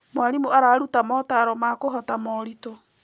Mwarimũ araruta motaaro ma kũhota moritũ.